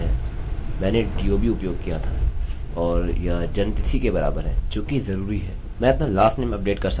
यह रिकार्डसअभिलेखकहलाते हैं और मैंने स्पष्ट रूप से दर्शाया where id 6 के बराबर थी और इसने मेरे यूनिक रिकार्ड अभिलेख को अपडेट किया